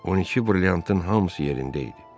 On iki brilliantın hamısı yerində idi.